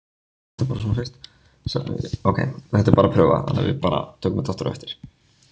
Sameiginlegt verkefni banka og stjórnvalda